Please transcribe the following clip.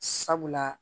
Sabula